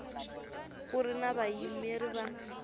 ku ri na vayimeri va